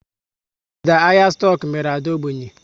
Ọdịda ahịa stoku mere Ade ógbènye